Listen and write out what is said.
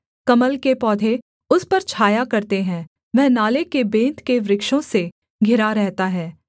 कमल के पौधे उस पर छाया करते हैं वह नाले के बेंत के वृक्षों से घिरा रहता है